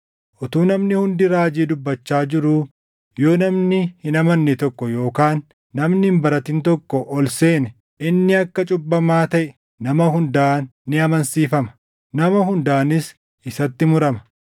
Utuu namni hundi raajii dubbachaa jiruu yoo namni hin amanne tokko yookaan namni hin baratin tokko ol seene inni akka cubbamaa taʼe nama hundaan ni amansiifama; nama hundaanis isatti murama;